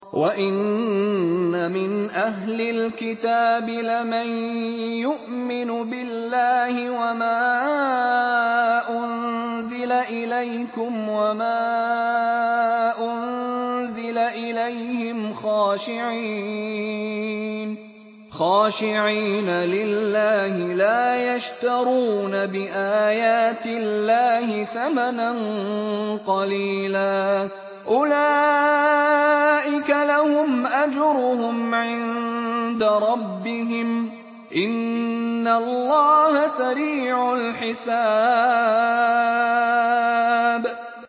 وَإِنَّ مِنْ أَهْلِ الْكِتَابِ لَمَن يُؤْمِنُ بِاللَّهِ وَمَا أُنزِلَ إِلَيْكُمْ وَمَا أُنزِلَ إِلَيْهِمْ خَاشِعِينَ لِلَّهِ لَا يَشْتَرُونَ بِآيَاتِ اللَّهِ ثَمَنًا قَلِيلًا ۗ أُولَٰئِكَ لَهُمْ أَجْرُهُمْ عِندَ رَبِّهِمْ ۗ إِنَّ اللَّهَ سَرِيعُ الْحِسَابِ